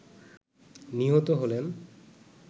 নিহত হলেন